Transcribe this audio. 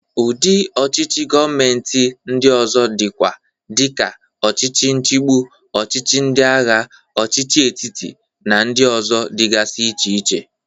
Udị ọchịchị govmenti ndị ọzọ dịkwa dị ka ọchịchị nchigbụ, ọchịchị ndịagha, ọchịchị etiti, na ndị ọzọ dịgasi iche iche.